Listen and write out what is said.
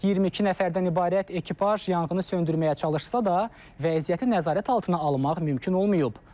22 nəfərdən ibarət ekipaj yanğını söndürməyə çalışsa da, vəziyyəti nəzarət altına almaq mümkün olmayıb.